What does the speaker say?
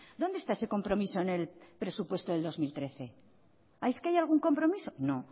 dónde está ese compromiso en el presupuesto del dos mil trece es que hay algún compromiso no